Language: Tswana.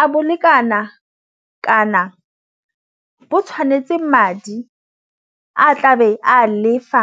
a bolekana kana bo tshwanetse madi a tlabe a lefa.